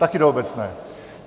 Také do obecné.